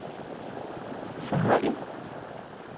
forholde